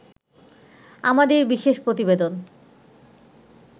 আমাদের বিশেষ প্রতিবেদন